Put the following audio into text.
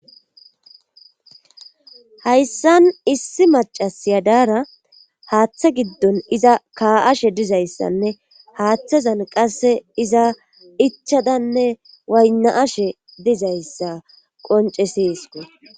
Hayssan issi macasiya daara haaththa giddon iza ka7ashe dizayssanne haaththazan qasse iza ichadanne waynna7ashe dizayssa qonceseesko.